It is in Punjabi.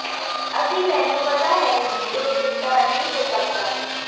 ਅਤੇ ਮੈਨੂੰ ਪਤਾ ਹੈ ਕਿ ਇਹ ਚਿੱਟਾ ਨਹੀਂ ਹੋ ਸਕਦਾ